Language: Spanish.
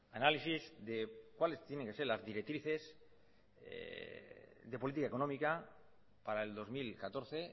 análisis de cuáles tienen que ser las directrices de política económica para el dos mil catorce